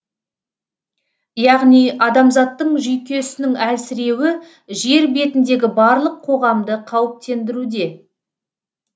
яғни адамзаттың жүйкесінің әлсіреуі жер бетіндегі барлық қоғамды қауіптендіруде